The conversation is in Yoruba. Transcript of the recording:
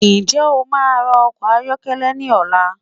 Nje o máa ra ọkọ̀ ayọ́kẹ́lẹ́ ní ọ̀la?